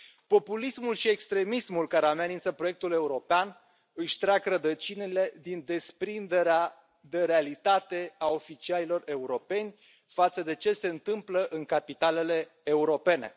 Populismul și extremismul care amenință proiectul european își trag rădăcinile din desprinderea de realitate a oficialilor europeni față de ce se întâmplă în capitalele europene.